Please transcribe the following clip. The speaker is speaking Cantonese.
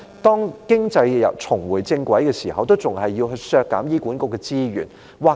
當經濟重回正軌時，為何政府仍然要削減醫管局的資源？